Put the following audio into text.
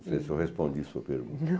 Não sei se eu respondi sua pergunta. Não